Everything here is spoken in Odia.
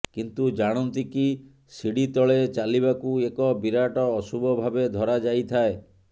କିନ୍ତୁ ଜାଣନ୍ତି କି ଶିଢ଼ି ତଳେ ଚାଲିବାକୁ ଏକ ବିରାଟ ଅଶୁଭ ଭାବେ ଧରା ଯାଇଥାଏ